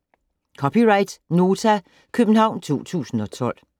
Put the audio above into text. (c) Nota, København 2012